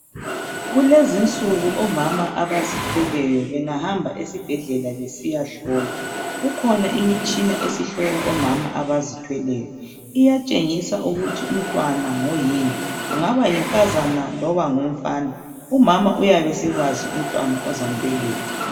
Kulezinsuku omama abazithweleyo bengahamba esibhedlela besiyahlolwa, kukhona imitshina esihlola omama abazithweleyo. Iyatshengisa ukuthi umntwana ngoyini, kungaba yinkazana loba umfana, umama uyabe esesazi umntwana azambeletha.